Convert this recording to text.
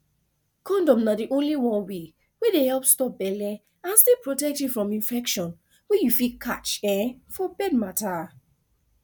condom na the only one wey dey help stop belle and still protect you from infection wey you fit catch um for bed matter